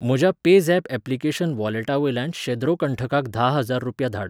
म्हज्या PayZapp application वॉलेटावयल्यान शेद्रो कंठकाक धा हजार रुपया धाड